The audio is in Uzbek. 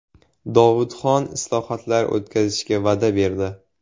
Dovudxon islohotlar o‘tkazishga va’da berdi.